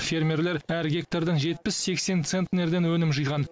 фермерлер әр гектардан жетпіс сексен центнерден өнім жиған